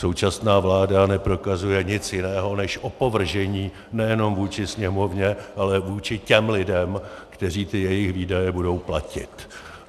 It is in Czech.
Současná vláda neprokazuje nic jiného než opovržení nejenom vůči Sněmovně, ale vůči těm lidem, kteří ty jejich výdaje budou platit.